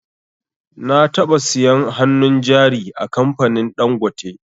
Na taɓa siyan hannun jari a kamfanin dangote